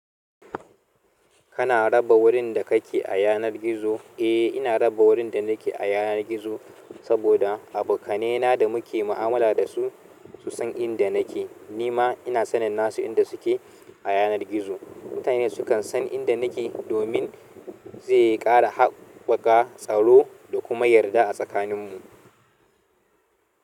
Kana raba wurin da kake a yanar gizo? Eh, ina raba wurin da nake a yanar gizo saboda abokanena da muke mu'amala dasu su san inda nake. Nima ina sanin nassu inda suke a yanar gizo. Mutane sukan san inda nake domin zai ƙara haɓɓaka tsaro da kuma yarda a tsakaninmu.